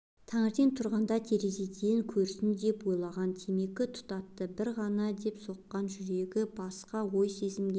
таңертең тұрғанда терезеден көрсін деп ойлаған темекі тұтатты бір ғана деп соққан жүрегі басқа ой-сезімге